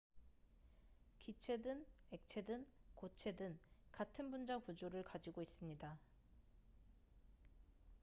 기체든 액체든 고체든 같은 분자 구조를 가지고 있습니다